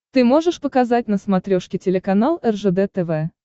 ты можешь показать на смотрешке телеканал ржд тв